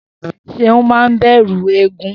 S̩eun máa ń bè̩rù eégún